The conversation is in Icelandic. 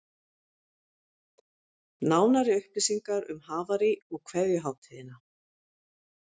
Nánari upplýsingar um Havarí og kveðjuhátíðina